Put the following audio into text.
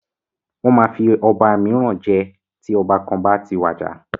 Wọ́n máa fi ọba míràn jẹ tí ọba kan bá ti wàjà.